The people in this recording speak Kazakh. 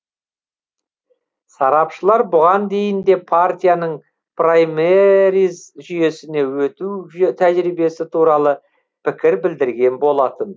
сарапшылар бұған дейін де партияның праймериз жүйесіне өту тәжірибесі туралы пікір білдірген болатын